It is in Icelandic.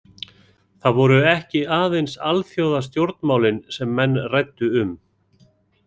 Það voru ekki aðeins alþjóðastjórnmálin sem menn ræddu um.